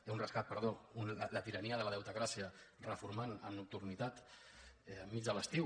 no un rescat perdó la tirania de la deutecràcia reformant amb nocturnitat enmig de l’estiu